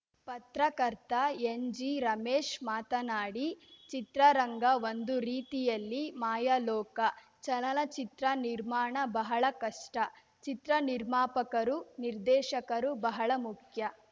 ಪತ್ರಕರ್ತ ಎನ್‌ಜಿ ರಮೇಶ್‌ ಮಾತನಾಡಿ ಚಿತ್ರರಂಗ ಒಂದು ರೀತಿಯಲ್ಲಿ ಮಾಯಾಲೋಕ ಚಲನಚಿತ್ರ ನಿರ್ಮಾಣ ಬಹಳ ಕಷ್ಟ ಚಿತ್ರ ನಿರ್ಮಾಪಕರು ನಿರ್ದೇಶಕರು ಬಹಳ ಮುಖ್ಯ